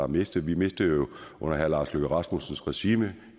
mistet vi mistede jo under herre lars løkke rasmussens regime